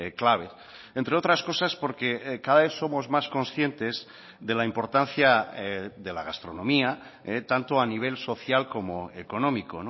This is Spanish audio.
clave entre otras cosas porque cada vez somos más conscientes de la importancia de la gastronomía tanto a nivel social como económico